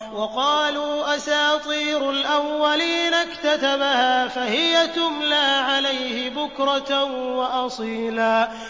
وَقَالُوا أَسَاطِيرُ الْأَوَّلِينَ اكْتَتَبَهَا فَهِيَ تُمْلَىٰ عَلَيْهِ بُكْرَةً وَأَصِيلًا